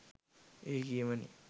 ඒ කියමනෙන්